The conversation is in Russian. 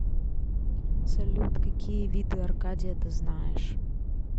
салют какие виды аркадия ты знаешь